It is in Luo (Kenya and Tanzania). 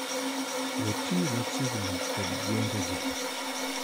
watiyo machiegni kod gwenge gi